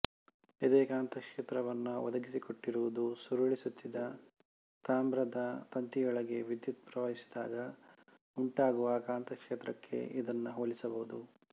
ಇದೇ ಕಾಂತಕ್ಷೇತ್ರವನ್ನು ಒದಗಿಸಿಕೊಟ್ಟಿರುವುದುಸುರುಳಿ ಸುತ್ತಿದ ತಾಮ್ರದ ತಂತಿಯೊಳಗೆ ವಿದ್ಯುತ್ ಪ್ರವಾಹಿಸಿದಾಗ ಉಂಟಾಗುವ ಕಾಂತಕ್ಷೇತ್ರಕ್ಕೆ ಇದನ್ನು ಹೋಲಿಸಬಹುದು